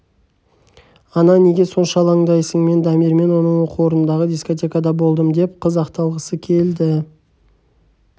ана неге сонша алаңдайсың мен дамирмен оның оқу орнындағы дискотекада болдым деп қыз ақталғысы келді